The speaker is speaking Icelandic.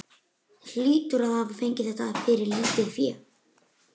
Hann hlýtur að hafa fengið þetta fyrir lítið fé.